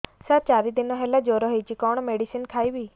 ସାର ଚାରି ଦିନ ହେଲା ଜ୍ଵର ହେଇଚି କଣ ମେଡିସିନ ଖାଇବି